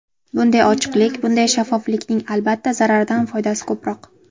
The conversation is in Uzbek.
Bunday ochiqlik, bunday shaffoflikning, albatta, zararidan foydasi ko‘proq.